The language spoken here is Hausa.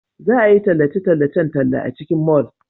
Za a yi tallace-tallacen talla a cikin mall.